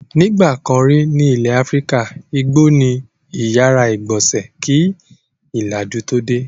Nígbà kan rí ní ilẹ̀ Áfíríkà, igbó ni ó ìyàrá-ìgbọnsẹ̀ kí ìlàjú tó dé.